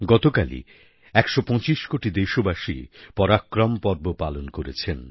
গতকালই একশো পঁচিশ কোটি দেশবাসী পরাক্রম পর্ব পালন করেছেন